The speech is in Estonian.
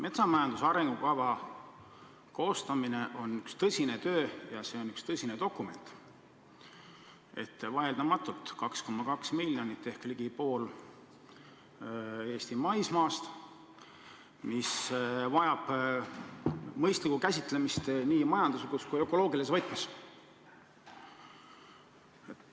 Metsamajanduse arengukava koostamine on üks tõsine töö ja see on üks tõsine dokument – vaieldamatult, see puudutab 2,2 miljonit hektarit ehk ligi poolt Eesti maismaast, mis vajab mõistlikku käsitlemist nii majanduslikus kui ka ökoloogilises võtmes.